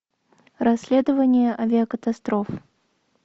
расследование авиакатастроф